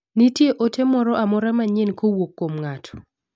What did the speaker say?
nitie ote moro amora manyien kowuok kuom ng'ato